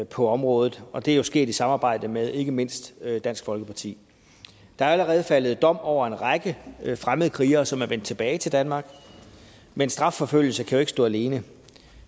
på området og det er jo sket i samarbejde med ikke mindst dansk folkeparti der er allerede faldet dom over en række fremmedkrigere som er vendt tilbage til danmark men strafforfølgelse kan jo ikke stå alene